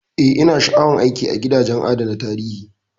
Eh,, ina sha'awar aiki a gidajen adana tarihi.